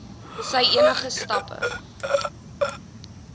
sy enige stappe